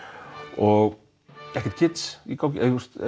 og ekkert í gangi